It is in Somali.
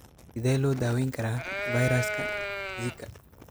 Sidee loo daweyn karaa fayraska Zika?